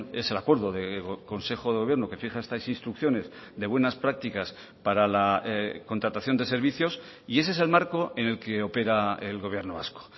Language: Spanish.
es el acuerdo de consejo de gobierno que fija estas instrucciones de buenas prácticas para la contratación de servicios y ese es el marco en el que opera el gobierno vasco